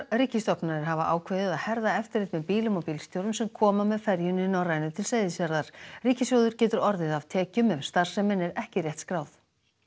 ríkisstofnanir hafa ákveðið að herða eftirlit með bílum og bílstjórum sem koma með ferjunni Norrænu til Seyðisfjarðar ríkissjóður getur orðið af tekjum ef starfsemin er ekki rétt skráð